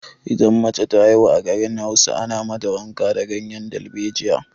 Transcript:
Idan mace ta haihu a garin Hausa, ana mata wanka da ganyen dalbejiya.